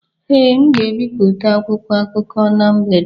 Ee, m ga-ebipụta akwụkwọ akụkọ na mgbede